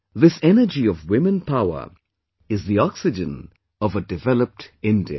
This energy of women power is the oxygen of a developed India